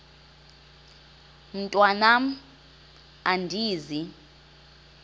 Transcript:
mntwan am andizi